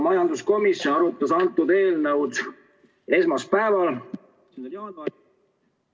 Majanduskomisjon arutas seda eelnõu esmaspäeval, 11. jaanuaril.